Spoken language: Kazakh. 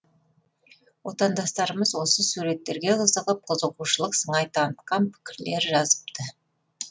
отандастарымыз осы суреттерге қызығып қызығушылық сыңай танытқан пікірлер жазыпты